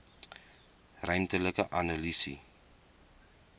ruimtelike analise